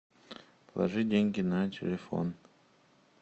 положи деньги на телефон